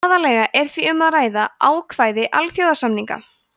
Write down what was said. aðallega er því um að ræða ákvæði alþjóðasamninga